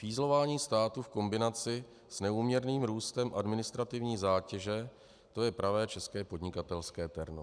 Fízlování státu v kombinaci s neúměrným růstem administrativní zátěže, to je pravé české podnikatelské terno.